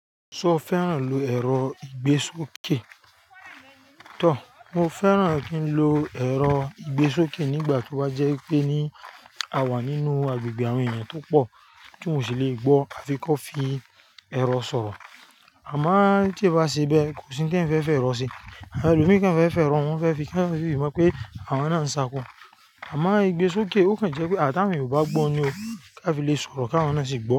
Ṣo fẹ́ràn lo ẹ̀rọ ìgbésókè? Tọ, mo fẹ́ràn kí n lo ẹ̀rọ ìgbésókè nígbà tí ó bá jẹ́ pé ní a wà nínú agbègbè àwọn ènìyàn tó pọ̀ tí mò ṣì lè gbọ́ a fi kọ́ fi ẹ̀rọ sọ̀rọ̀. Àmá tí ẹ bá ṣe bẹ́ẹ̀ kò sí nkán fẹ́ fẹ́ rọ̀ sé. Àwọn ẹlòmíràn fẹ́ fẹ́ rọ̀ wọ́n fẹ́ fi, kí wọ́n sì mọ̀ pé àwọn náà ń sàkọ̀. Àmá ìgbésókè ó kàn jẹ́ pé tàwọn eniyan ó ba gbọ́ ni o ká fi lè sọ̀rọ̀ ká wọ́n náà sì gbọ́